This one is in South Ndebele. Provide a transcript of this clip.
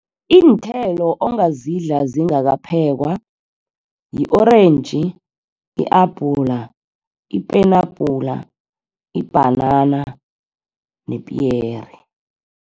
Iinthelo ongazidla zingakaphekwa yi-orentji, yi-abhula, ipenabhula, ibhanana nepiyere.